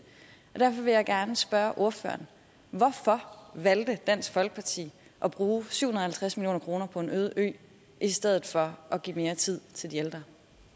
derfor vil jeg gerne spørge ordføreren hvorfor valgte dansk folkeparti at bruge syv hundrede og halvtreds million kroner på en øde ø i stedet for at give mere tid til de ældre